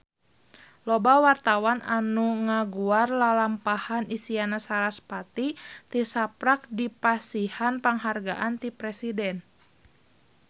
Loba wartawan anu ngaguar lalampahan Isyana Sarasvati tisaprak dipasihan panghargaan ti Presiden